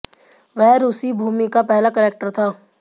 वह रूसी भूमि का पहला कलेक्टर था